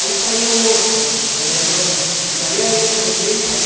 Aí saía o outro da, eletrodoméstico, aí eu ia aprender e saía.